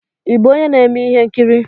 Ị bụ onye na-eme ihe nkiri?